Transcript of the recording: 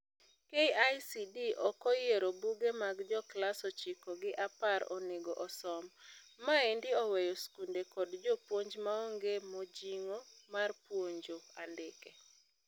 KICD okoyiero buge ma joklas ochiko gi apar onego osom. Maendi oweyo skunde kod jopuonj maonge mojing'o mar puonjo andike.